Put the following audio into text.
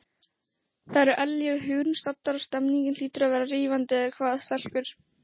Þar eru Ellý og Hugrún staddar og stemningin hlýtur að vera rífandi eða hvað, stelpur?